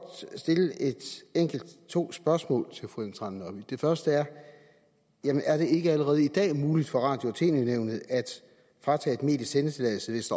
stille to spørgsmål til fru ellen trane nørby det første er jamen er det ikke allerede i dag muligt for radio og tv nævnet at fratage et medie sendetilladelsen hvis